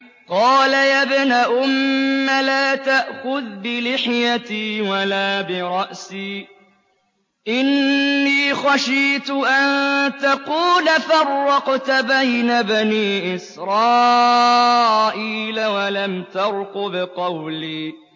قَالَ يَا ابْنَ أُمَّ لَا تَأْخُذْ بِلِحْيَتِي وَلَا بِرَأْسِي ۖ إِنِّي خَشِيتُ أَن تَقُولَ فَرَّقْتَ بَيْنَ بَنِي إِسْرَائِيلَ وَلَمْ تَرْقُبْ قَوْلِي